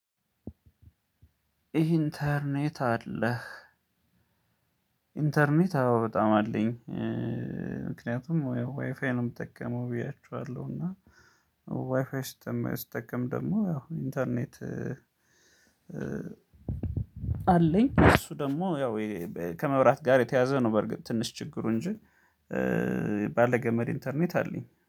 ኢንተርኔት አለህ? ኢንተርኔት አዎ በጣም አለኝ። ምክንያቱም ዋይፋይ ነው የምጠቀመው ብያቹኋለሁ እና ዋይፋይ ስትጠቀም ደግሞ ያው ኢንተርኔት። አለኝ እሱ ደግሞ ያው ከመብራት ጋር የተያዘ ነው። በርግጥ ትንሽ ችግሩ እንጂ ባለ ገመድ ኢንተርኔት አለኝ